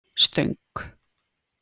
Stöng